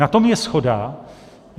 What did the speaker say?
Na tom je shoda.